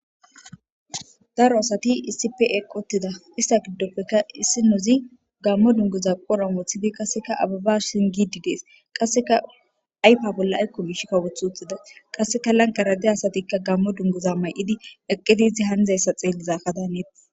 Daro asati isipe qotida ista giddopfeka issinozi gammo dungoza qora moothidi qasseka ababa shingidi dees qasseka aypa bolla aykko bish kawoth wuthida qasseka lankarade asatikka gammo dungoza may'idi eqqidizi handayssa xeellizakadaaneeti.